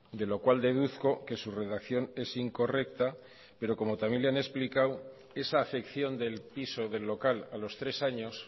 de lo cual deduzco que su redacción es incorrecta pero como también le han explicado esa afección del piso o del local a los tres años